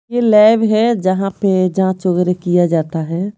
यह लैब है जहां पे जांच वगैरह किया जाता है।